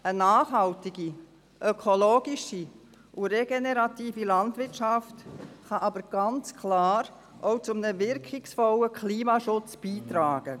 Eine nachhaltige, ökologische und regenerative Landwirtschaft kann ganz klar zu einem wirkungsvollen Klimaschutz beitragen.